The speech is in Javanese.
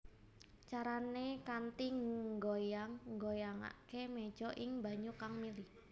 Carané kanthi nggoyang nggoyangaké méja ing banyu kang mili